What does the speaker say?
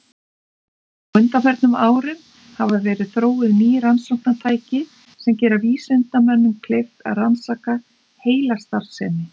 Á undanförnum árum hafa verið þróuð ný rannsóknartæki sem gera vísindamönnum kleift að rannsaka heilastarfsemi.